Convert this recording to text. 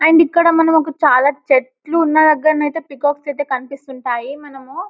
and ఇక్కడ మనము చాల చెట్లు ఉన్న దగ్గర అయితే పీకాక్స్ అయితే కనిపిస్తుంటాయి మనము --